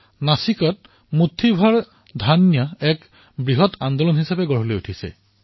নাছিকত মুঠিৰ সমান ধান এক বৃহৎ আন্দোলনলৈ পৰিৱৰ্তিত হৈছে